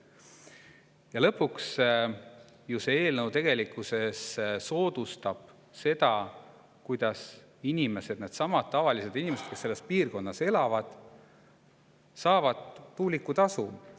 Ja lõpuks, see eelnõu tegelikkuses soodustab seda, kuidas inimesed, needsamad tavalised inimesed, kes selles piirkonnas elavad, saavad tuulikutasu.